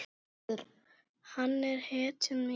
Hann er hetjan mín.